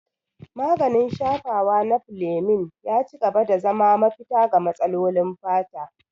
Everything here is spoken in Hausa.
Maganin shafawa na Fleming ya ci gaba da zama mafita ga matsalolin fata.